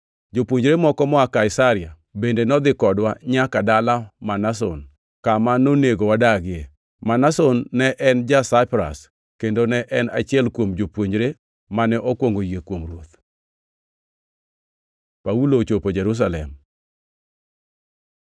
Jopuonjre moko moa Kaisaria bende nodhi kodwa nyaka dala Manason, kama nonego wadagie. Manason ne en ja-Saipras, kendo ne en achiel kuom jopuonjre mane okwongo yie kuom Ruoth. Paulo ochopo Jerusalem